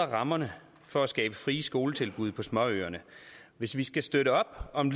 rammerne for at skabe frie skoletilbud på småøerne hvis vi skal støtte op om